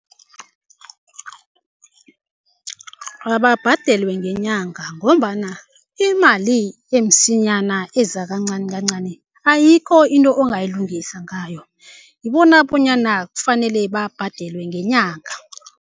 Ababhadelwe ngenyanga ngombana imali emsinyana iza kancani kancani, ayikho into ongayilungisa ngayo. Ngibona bonyana kufanele babhadelwe ngenyanga.